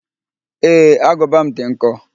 Ee, agụba m dị nkọ